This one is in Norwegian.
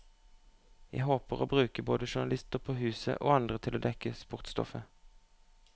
Jeg håper å bruke både journalister på huset, og andre til å dekke sportsstoffet.